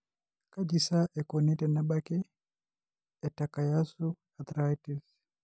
Kaji sa eikoni tenebaki eTakayasu arteritis?